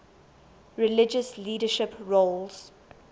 religious leadership roles